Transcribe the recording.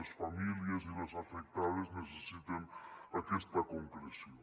les famílies i les afectades necessiten aquesta concreció